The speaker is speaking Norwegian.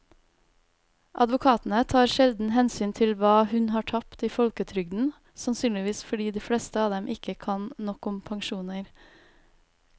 Advokatene tar sjelden hensyn til hva hun har tapt i folketrygden, sannsynligvis fordi de fleste av dem ikke kan nok om pensjoner.